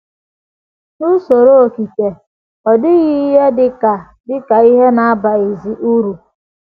“ N’USORO okike... ọ dịghị ihe dị ka dị ka ihe na - abaghịzi uru. ”